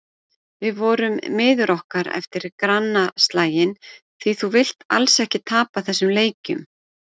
Við vorum miður okkur eftir grannaslaginn því þú vilt alls ekki tapa þessum leikjum.